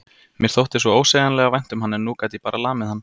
Mér þótti svo ósegjanlega vænt um hann en nú gat ég bara lamið hann.